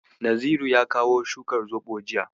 Naziru ya kawo shukar zoɓo jiya.